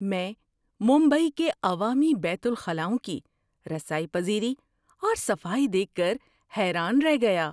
میں ممبئی کے عوامی بیت الخلاؤں کی رسائی پذیری اور صفائی دیکھ کر حیران رہ گیا۔